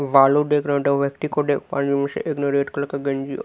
बालू डेक रहे और उनमे से एक ने रेड कलर का गंजी अ--